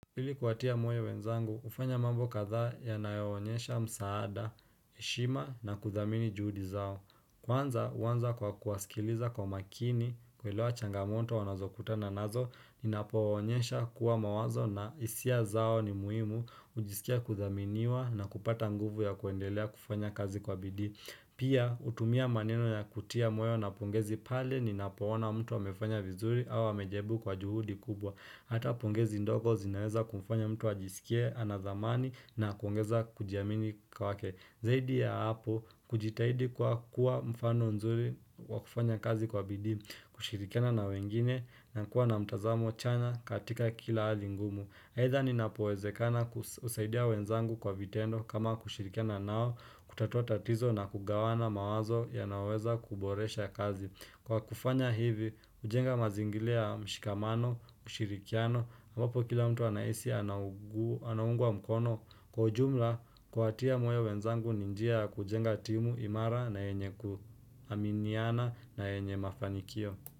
Ili kuwatia moyo wenzangu, kufanya mambo kadhaa yanayo onyesha msaada, heshima na kuthamini juhudi zao. Kwanza, huanza kwa kuwasikiliza kwa makini, kuelewa changamonto wanazokutana nazo, ninapowaonyesha kuwa mawazo na hisia zao ni muhimu, hujisikia kuthaminiwa na kupata nguvu ya kuendelea kufanya kazi kwa bidii. Pia, hutumia maneno ya kutia moyo na pongezi pale ninapoona mtu amefanya vizuri au amejaribu kwa juhudi kubwa. Hata pongezi ndogo zinaweza kumfanya mtu wajisikie anathamani na kuongeza kujiamini kwa wake Zaidi ya hapo kujitahidi kwa kuwa mfano nzuri kwa kufanya kazi kwa bidii kushirikana na wengine na kuwa na mtazamo chanya katika kila hali ngumu aidha inapowezekana kusaidia wenzangu kwa vitendo kama kushirikana nao kutatua tatizo na kugawana mawazo yanaweza kuboresha kazi Kwa kufanya hivi, hujenga mazingira ya shikamano, ushirikiano, ambapo kila mtu anahisi anaungwa mkono kwa ujumla kuwatia moyo wenzangu ni njia kujenga timu imara na yenye kuaminiana na yenye mafanikio.